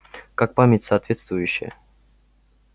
как память соответствующая